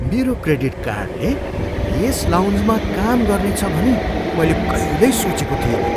मेरो क्रेडिट कार्डले यस लाउन्जमा काम गर्नेछ भनी मैले कहिल्यै सोचेको थिइनँ!